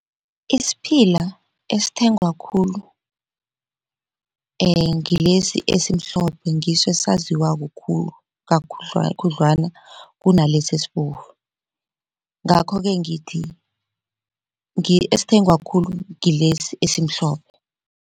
Isiphila esithengwa khulu ngilesi esimhlophe ngiso esaziwako khulu khudlwana kunalesi esibovu, ngakho-ke ngithi esithengwa khulu ngilesi esimhlophe.